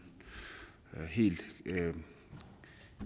helt